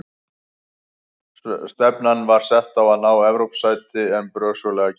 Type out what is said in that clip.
Stefnan var sett á að ná Evrópusæti en brösuglega gekk.